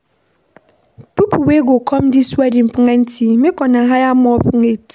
People wey go come dis wedding plenty, make una hire more plates